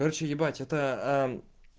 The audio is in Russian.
короче ебать это